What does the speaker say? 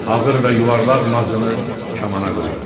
Ağır və yuvarlaq mazını kamana qoydu.